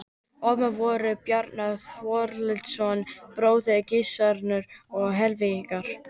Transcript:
Ormur voru synir Bjarnar Þorvaldssonar, bróður Gissurar, og Hallveigar